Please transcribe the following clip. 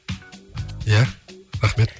иә рахмет